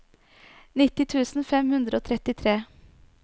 nitti tusen fem hundre og trettitre